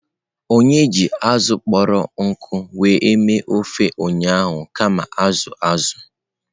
Onye ji azụ̀ kpọrọ nkụ were mee ofe ụnyahụ kama azụ̀ azụ̀.